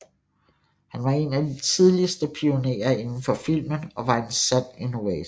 Han var en af de tidligste pionerer inden for filmen og var en sand innovator